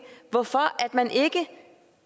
hvorfor man ikke